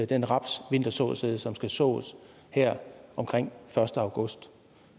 den rapsvintersåsæd som skal sås her omkring første august